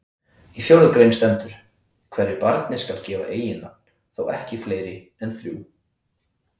Í fjórðu grein stendur: Hverju barni skal gefa eiginnafn, þó ekki fleiri en þrjú